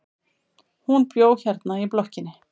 Hún bjó hérna í blokkinni.